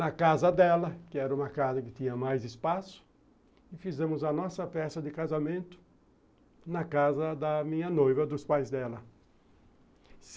Na casa dela, que era uma casa que tinha mais espaço, e fizemos a nossa festa de casamento na casa da minha noiva, dos pais dela.